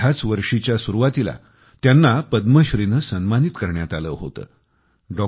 ह्याच वर्षीच्या सुरवातीला त्यांना पद्मश्री ने सन्मानित करण्यात आलं होतं